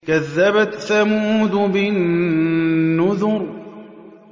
كَذَّبَتْ ثَمُودُ بِالنُّذُرِ